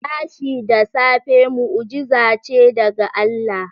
Tashi da safe mu'ujiza ce daga Allah.